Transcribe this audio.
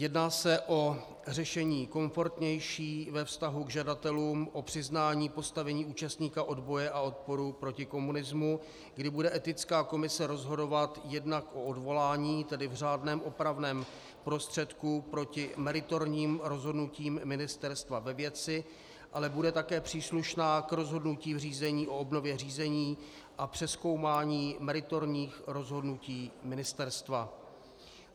Jedná se o řešení komfortnější ve vztahu k žadatelům o přiznání postavení účastníka odboje a odporu proti komunismu, kdy bude Etická komise rozhodovat jednak o odvolání, tedy v řádném opravném prostředku proti meritorním rozhodnutím ministerstva ve věci, ale bude také příslušná k rozhodnutí v řízení o obnově řízení a přezkoumání meritorních rozhodnutí ministerstva.